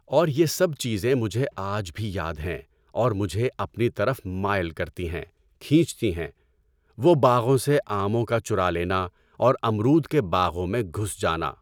اور یہ سب چیزیں مجھے آج بھی یاد ہیں اور مجھے اپنی طرف مائل کرتی ہیں، کھینچتی ہیں - وہ باغوں سے آموں کا چُرا لینا اور امرود کے باغوں میں گھس جانا۔